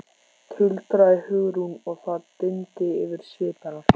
tuldraði Hugrún og það dimmdi yfir svip hennar.